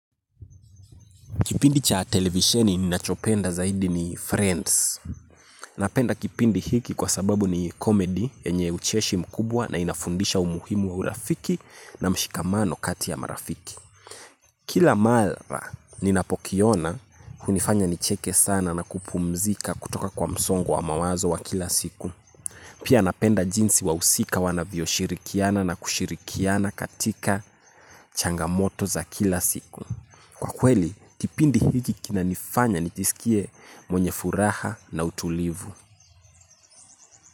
Kipindi cha televisheni ninacho penda zaidi ni Friends. Napenda kipindi hiki kwa sababu ni komedi yenye ucheshi mkubwa na inafundisha umuhimu wa urafiki na mshikamano kati ya marafiki. Kila mara ninapokiona hunifanya nicheke sana na kupumzika kutoka kwa msongo wa mawazo wa kila siku. Pia napenda jinsi wahusika wanavyo shirikiana na kushirikiana katika changamoto za kila siku. Kwa kweli, kipindi hiki kinanifanya nijisikie mwenye furaha na utulivu.